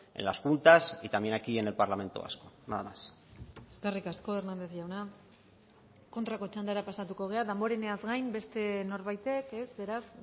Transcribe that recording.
en las juntas y también aquí en el parlamento vasco nada más eskerrik asko hernández jauna kontrako txandara pasatuko gara damboreneaz gain beste norbaitek ez beraz